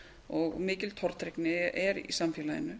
og mikil tortryggni er í samfélaginu